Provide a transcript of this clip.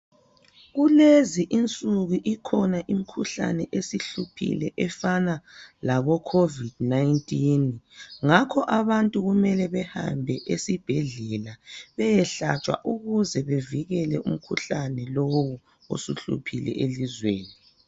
Kulezi insuku ikhonanimikhuhlane esihluphile efana labo covid 19 ngakho abantu kumele behambe esibhedlela beyehlatshwa ukuze bevikele umkhuhlane lowu osuhluphile elizweni